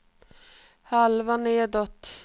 halva nedåt